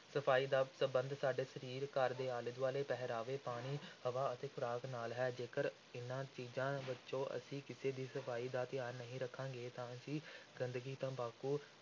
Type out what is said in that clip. ਸਫ਼ਾਈ ਦਾ ਸੰਬੰਧ ਸਾਡੇ ਸਰੀਰ, ਘਰ ਦੇ ਆਲੇ ਦੁਆਲੇ, ਪਹਿਰਾਵੇ, ਪਾਣੀ, ਹਵਾ ਅਤੇ ਖ਼ੁਰਾਕ ਨਾਲ ਹੈ, ਜੇਕਰ ਇਨ੍ਹਾਂ ਚੀਜ਼ਾਂ ਵਿੱਚੋਂ ਅਸੀਂ ਕਿਸੇ ਦੀ ਸਫ਼ਾਈ ਦਾ ਧਿਆਨ ਨਹੀਂ ਰੱਖਾਂਗੇ ਤਾਂ ਅਸੀਂ ਗੰਦਗੀ, ਤੰਬਾਕੂ,